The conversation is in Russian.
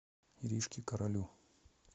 иришке королю